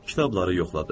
Kitabları yoxladı.